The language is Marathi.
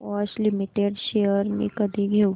बॉश लिमिटेड शेअर्स मी कधी घेऊ